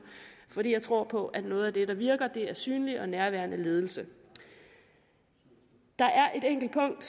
fordi jeg tror på at noget af det der virker er synlig og nærværende ledelse der er et enkelt punkt